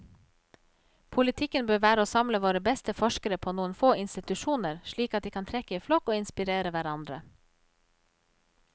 Politikken bør være å samle våre beste forskere på noen få institusjoner, slik at de kan trekke i flokk og inspirere hverandre.